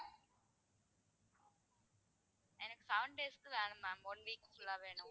எனக்கு seven days க்கு வேணும் ma'am, one week full லா வேணும்.